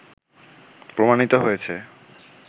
প্রমাণিত হয়েছে